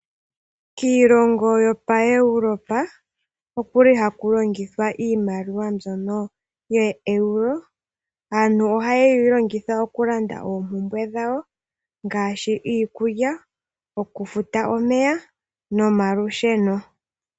Kiilongo yopo Europa okuli haku longitha iimaliwa yo Euro. Aantu oha yeyi longitha oku landa oompumbwe dhawo ngaashi iikulya oku futa omeya nomalusheno.